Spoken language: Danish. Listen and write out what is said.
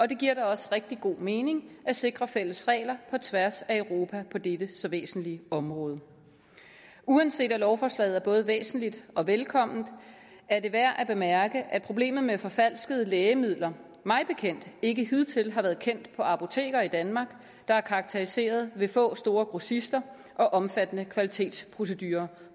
det giver da også rigtig god mening at sikre fælles regler på tværs af europa på dette så væsentlige område uanset at lovforslaget er både væsentligt og velkomment er det værd at bemærke at problemet med forfalskede lægemidler mig bekendt ikke hidtil har været kendt på apoteker i danmark der er karakteriseret ved få store grossister og omfattende kvalitetsprocedurer